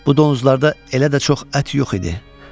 Bu donuzlarda elə də çox ət yox idi.